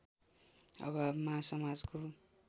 अभावमा समाजको